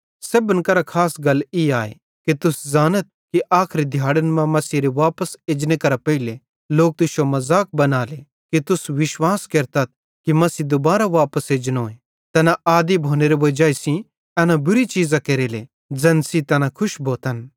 सेब्भन करां खास गल ई आए कि तुस ज़ानथ कि आखरी दिहाड़न मां मसीहेरे वापस एजने करां पेइले लोक तुश्शो मज़ाक बनाने कि तुस विश्वास केरतथ कि मसीह दुबारा वापस एजनोए तैना आदी भोनेरे वजाई सेइं एना बुरी चीज़ां केरेले ज़ैन सेइं तैना खुश भोतन